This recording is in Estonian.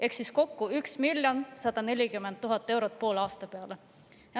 Ehk kokku 1 140 000 eurot poole aasta peale.